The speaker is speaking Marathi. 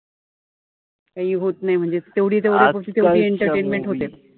काई होत नाई म्हणजे. तेवढी तेवढी entertaintment होते.